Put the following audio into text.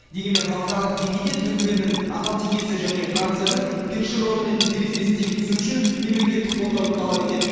дегенмен халықаралық деңгейде түркіменнің ақалтекесі және францияның першеронымен терезесі тең түсуі үшін мемлекеттік қолдауды талап етеді